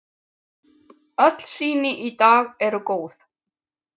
Öll sýni í dag eru góð.